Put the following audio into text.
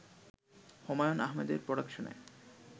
হুমায়ূন আহমেদের প্রোডাকশনে